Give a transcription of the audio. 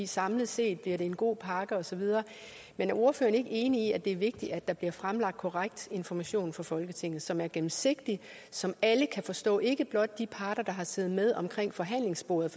samlet set bliver det en god pakke og så videre men er ordføreren ikke enig i at det er vigtigt at der bliver fremlagt korrekt information for folketinget som er gennemsigtig som alle kan forstå ikke blot de parter der har siddet med ved forhandlingsbordet